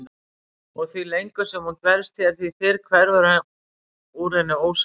Og því lengur sem hún dvelst hér því fyrr hverfur úr henni ósáttin.